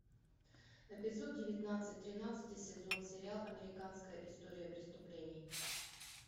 эпизод девятнадцать тринадцатый сезон сериал американская история преступлений